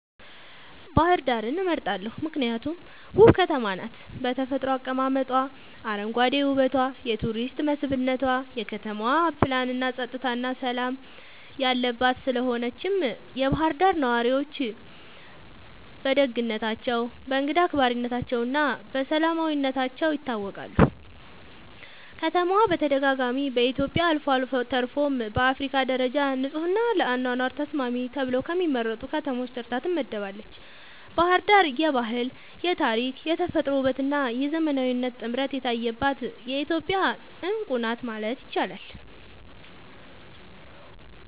ባህር ዳርን እመርጣለሁ ምክንያቱም ውብ ከተማ ናት በተፈጥሮ አቀማመጧ, አረንጓዴ ዉበቷ የቱሪስት መስብነቷ, የከተማዋ ፕላንናፀጥታና ሠላም የለባት ስለሆነችም የባህር ዳር ነዋሪዎች በደግነታቸው፣ በእንግዳ አክባሪነታቸውና በሰላማዊነታቸው ይታወቃሉ። ከተማዋ በተደጋጋሚ በኢትዮጵያ አልፎ ተርፎም በአፍሪካ ደረጃ ንጹሕና ለአኗኗር ተስማሚ ተብለው ከሚመረጡ ከተሞች ተርታ ትመደባለች። ባሕር ዳር የባህል፣ የታሪክ፣ የተፈጥሮ ውበትና የዘመናዊነት ጥምረት የታየባት የኢትዮጵያ ዕንቁ ናት ማለት ይቻላል።